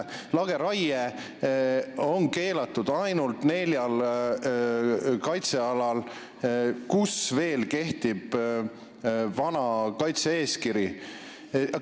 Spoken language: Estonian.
Lageraie on keelatud ainult neljal kaitsealal, kus veel kehtib vana kaitse-eeskiri.